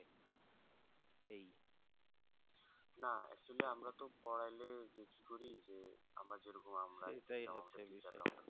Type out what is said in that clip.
এই না actually আমরা তো পড়াইলেই যে আমরা যেরকম